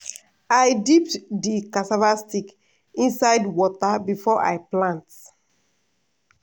i dip di cassava stick inside water before i plant.